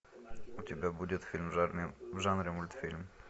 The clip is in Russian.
у тебя будет фильм в жанре мультфильм